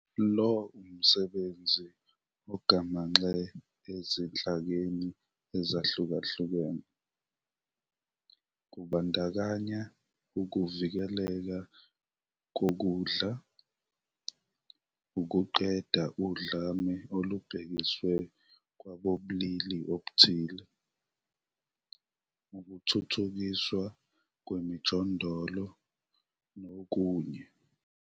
Lo umsebenzi ugamanxa ezinhlakeni ezihlukahlukene, kubandakanya ukuvikeleka kokudla, ukuqeda udlame olubhekiswe kwabobulili obuthile, ukuthuthukiswa kwemijondolo nokunye.